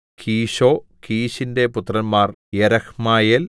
കീശോ കീശിന്റെ പുത്രന്മാർ യെരഹ്മെയേൽ